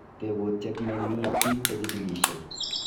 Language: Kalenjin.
Tebutiet neiimi biik che jikilishei